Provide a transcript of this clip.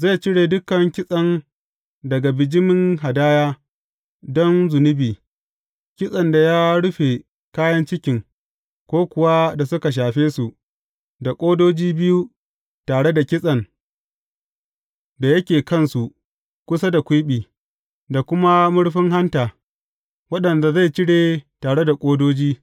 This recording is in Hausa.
Zai cire dukan kitsen daga bijimin hadaya don zunubi, kitsen da ya rufe kayan cikin, ko kuwa da suka shafe su, da ƙodoji biyu tare da kitsen da yake kansu kusa da kwiɓi, da kuma murfin hanta, waɗanda zai cire tare da ƙodoji.